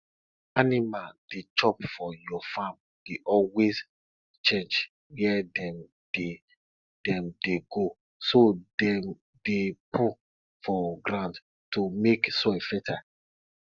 animal dey chop for your farm dey always change where dem dey dem dey go so dem dey poo for ground to make soil fertile